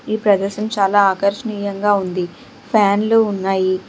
ఈ ప్రదేశం చాలా ఆకర్షణీయంగా ఉంది ఫ్యాన్లు ఉన్నాయి.